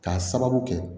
K'a sababu kɛ